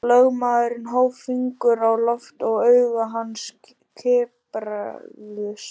Lögmaðurinn hóf fingur á loft og augu hans kipruðust.